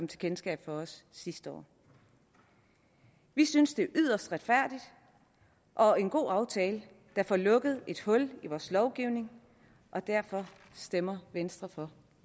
kendskab sidste år vi synes det er yderst retfærdigt og en god aftale der får lukket et hul i vores lovgivning og derfor stemmer venstre for